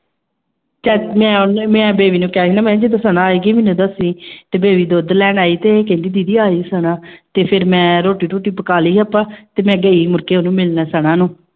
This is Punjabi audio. ਚਾ ਮੈਂ ਉਹਨੂੰ ਮੈਂ ਬੇਬੀ ਨੂੰ ਕਿਹਾ ਸੀ ਮੈਂ ਕਿਹਾ ਜਦੋਂ ਸਨਾ ਆਏਗੀ ਮੈਨੂੰ ਦੱਸੀ ਤੇ ਬੇਬੀ ਦੁੱਧ ਲੈਣ ਆਈ ਤੇ ਕਹਿੰਦੀ ਦੀਦੀ ਆ ਗਈ ਸਨਾ ਤੇ ਫਿਰ ਮੈਂ ਰੋਟੀ ਰੂਟੀ ਪਕਾ ਲਈ ਆਪਾਂ ਤੇ ਮੈਂ ਗਈ ਮੁੜਕੇ ਉਹਨੂੰ ਮਿਲਣ ਸਨਾ ਨੂੰ।